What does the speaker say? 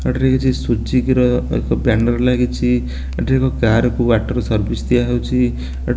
ଏଠିରେ କିଛି ସୁଜିକ୍ କିର ଏକ ବ୍ୟାନର ଲାଗିଚି ଏଠିରେ ଏକ କାରକୁ ୱଟର ସର୍ବସି ଦିଆ ହୋଉଚି।